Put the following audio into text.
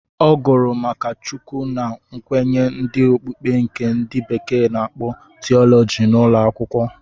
Ọ gụrụ ma Chukwu na nkwenye ndị okpukpe nke ndị bekee na-akpọ tiọlọji n'ụlọ akwụkwọ.